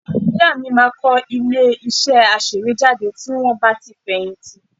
Ìyá mi máa kọ́ ilé-iṣẹ́ aṣèwéjádé tí wọ́n bá ti fẹ̀yìntì